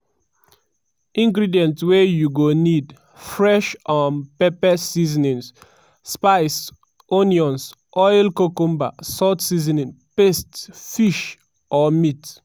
ingredients wey you go need: fresh um pepper seasonings/spice onions oil cucumber salt seasoning paste fish/meat.